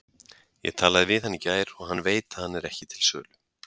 Ég talaði við hann í gær og hann veit að hann er ekki til sölu.